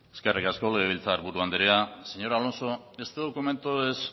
eskerrik asko legebiltzar buru andrea señor alonso este documento es